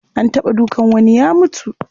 An taɓa dukan wani ya mutu.